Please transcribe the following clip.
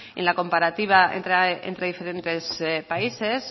en la comparativa entre diferentes países